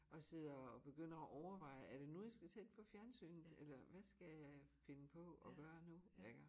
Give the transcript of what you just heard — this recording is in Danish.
Og sidder og begynder at overveje er det nu jeg skal tænde for fjernsynet eller hvad skal jeg finde på at gøre nu iggå